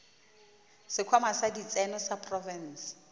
sekhwama sa ditseno sa profense